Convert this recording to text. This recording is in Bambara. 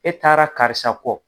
E taara karisa kɔ